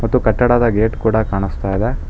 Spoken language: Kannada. ಮತ್ತು ಕಟ್ಟಡದ ಗೇಟ್ ಕೂಡ ಕಾಣಿಸ್ತಾ ಇದೆ.